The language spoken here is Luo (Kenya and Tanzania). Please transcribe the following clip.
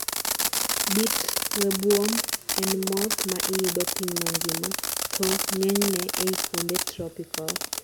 beet webworm en moth ma iyudo piny mangima, to ng'enyne ei kuonde tropical